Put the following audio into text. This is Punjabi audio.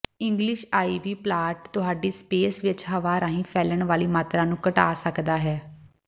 ਇੰਗਲਿਸ਼ ਆਈਵੀ ਪਲਾਂਟ ਤੁਹਾਡੀ ਸਪੇਸ ਵਿੱਚ ਹਵਾ ਰਾਹੀਂ ਫੈਲਣ ਵਾਲੀ ਮਾਤਰਾ ਨੂੰ ਘਟਾ ਸਕਦਾ ਹੈ